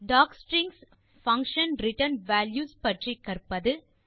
docstrings function return value பற்றி கற்பது